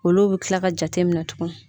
Olu bɛ kila ka jateminɛ tugun